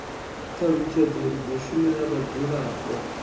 thalutshedzo ri do shumela vhadzulapo